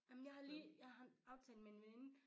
Ej men jeg har lige jeg har en aftale med en veninde